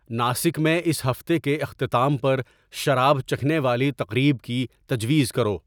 ناسک میں اس ہفتے کے اختتام پر شراب چکھنے والی تقریب کی تجویز کرو